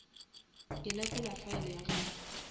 ke lekola file ya gago